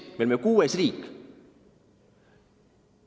Me olime kuues riik!